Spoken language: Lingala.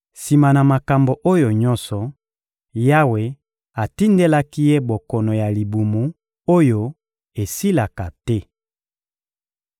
Sima na makambo oyo nyonso, Yawe atindelaki ye bokono ya libumu oyo esilaka te.